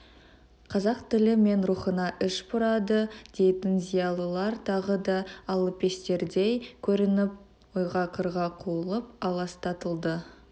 қазақ тілі мен рухына іш бұрады дейтін зиялылар тағы да алапестердей көрініп ойға-қырға қуылып аластатылды